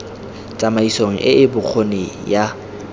tsamaisong e e bokgoni ya